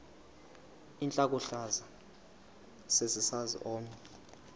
intlokohlaza sesisaz omny